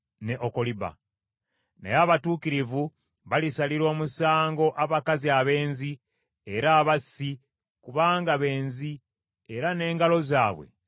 Naye abatuukirivu balisalira omusango abakazi abenzi era abassi kubanga benzi era n’engalo zaabwe zijjudde omusaayi.